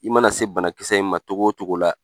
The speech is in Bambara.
I mana se banakisɛ in ma cogo o cogo la